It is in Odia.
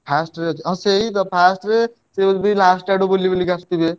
First ରେ ଯଦି ହଁ ସେଇ first ରେ ସେ ବି last ଆଡୁ ବୁଲି ବୁଲି ଆସୁଥିବେ।